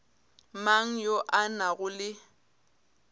mang yo a nago le